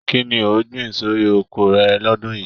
Kínní o gbìn sórí oko rẹ l'ọdun yìí?